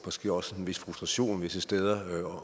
måske også en vis frustration visse steder